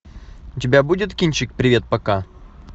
у тебя будет кинчик привет пока